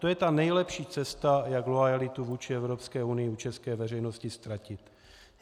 To je ta nejlepší cesta, jak loajalitu vůči Evropské unii u české veřejnosti ztratit.